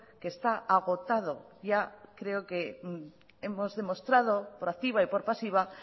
que está agotado ya creo que hemos demostrado por activa y por pasiva